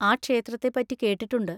ആ ക്ഷേത്രത്തെ പറ്റി കേട്ടിട്ടുണ്ട്.